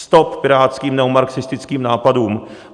Stop pirátským neomarxistickým nápadům!